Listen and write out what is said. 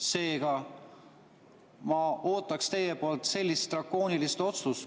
Seega ma ootaks teilt drakoonilist otsust.